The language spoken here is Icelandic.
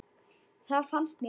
Það fannst mér líka.